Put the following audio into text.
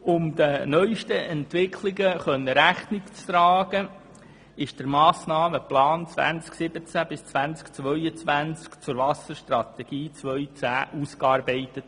Um den neuesten Entwicklungen Rechnung tragen zu können, wurde der Massnahmenplan 2017–2022 zur Wasserstrategie 2010 ausgearbeitet.